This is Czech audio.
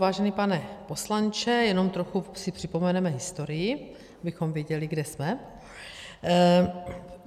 Vážený pane poslanče, jenom trochu si připomeneme historii, abychom věděli, kde jsme.